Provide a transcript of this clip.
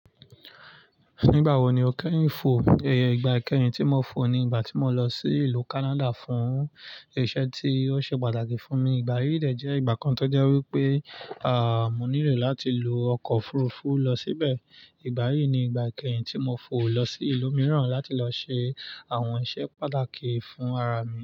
Nígbà wo ni o kẹ́rù ń fò? Ẹ̀ẹ̀ẹ̀ ìgbà kẹ́yìn tí mo fò ni ìgbà tí mo lọ sí ìlú Kánádà fún iṣẹ́ tí ó ṣe pàtàkì fún mi. Ìgbà yíì dẹ̀ jẹ́ ìgbà kan tó jẹ́ wípé àà mo nílò láti lo ọkọ̀ òfurufú lọ síbẹ̀. Ìgbà yíì ni ìgbà kẹ́yìn tí mo fò lọ sí ìlú mìíràn láti lọ ṣe àwọn iṣẹ́ pàtàkì fún ara mi.